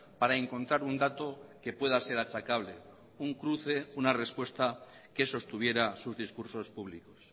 para encontrar un dato que pueda ser achacable un cruce una respuesta que sostuviera sus discursos públicos